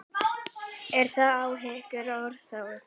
Eru þær áhyggjur óþarfi?